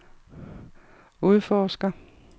udforsker